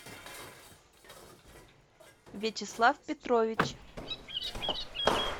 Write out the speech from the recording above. вячеслав петрович